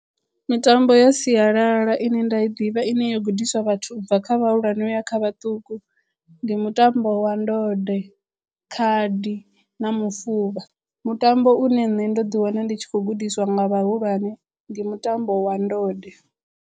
Mitambo ya sialala ine nda i ḓivha ine yo gudiswa vhathu ubva kha vhahulwane u ya kha vhaṱuku ndi mutambo wa ndode, khadi na mufuvha. Mutambo une nṋe ndo ḓi wana ndi tshi khou gudiswa nga vhahulwane ndi mutambo wa ndode.